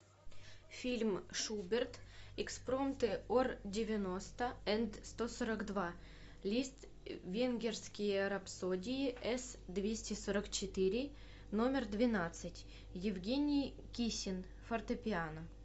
фильм шуберт экспромты ор девяносто энд сто сорок два лиственгерские рапсодии эс двести сорок четыре номер двенадцать евгений кисин фортепиано